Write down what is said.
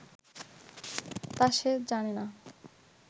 তা সে জানে না